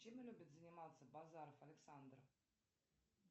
чем любит заниматься базаров александр